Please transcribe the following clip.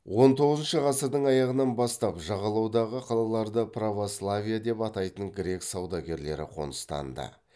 он тоғызыншы ғасырдың аяғынан бастап жағалаудағы қалаларда православие деп атайтын грек саудагерлері қоныстанды